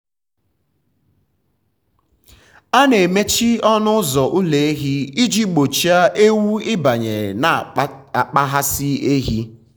a na-emechi ọnụ ụzọ ụlọ ehi iji gbochie ewu ịbanye na ịkpaghasị ehi.